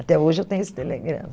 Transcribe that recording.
Até hoje eu tenho esse telegrama.